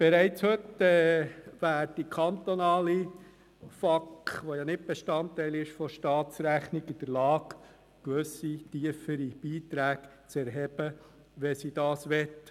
Bereits heute sind kantonale Familienausgleichskassen, welche nicht Bestandteil der Staatsrechnung sind, in der Lage, gewisse tiefere Beiträge zu erheben, wenn sie das wollen.